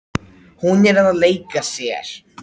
Hún er að leika sér.